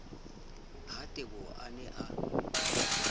ha teboho a ne a